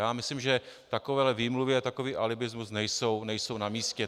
Já myslím, že takovéhle výmluvy a takový alibismus nejsou na místě.